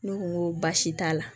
Ne ko n ko baasi t'a la